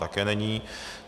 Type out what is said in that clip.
Také není.